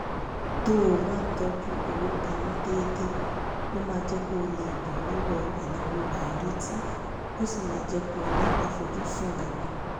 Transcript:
tó o bá ń tọ́jú owó pa mọ́ déédéé ó máa jẹ́ kó o lè bọ́ lọ́wọ́ ìnáwó àìrètí ó sì máa jẹ́ kó o ní àfojúsùn gígùn